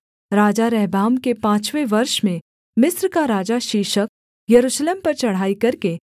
राजा रहबाम के पाँचवें वर्ष में मिस्र का राजा शीशक यरूशलेम पर चढ़ाई करके